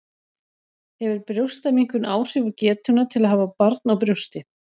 Hefur brjóstaminnkun áhrif á getuna til að hafa barn á brjósti?